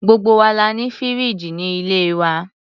Gbogbo wa la ní fìríìjì ní ilé wa.